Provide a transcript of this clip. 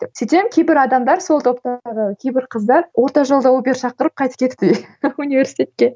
сөйтсем кейбір адамдар сол топтағы кейбір қыздар орта жолда убер шақырып қайтып кетіпті университетке